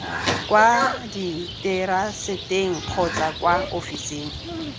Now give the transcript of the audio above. kwa diteraseteng kgotsa kwa ofising